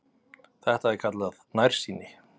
Þetta er kallað nærsýni.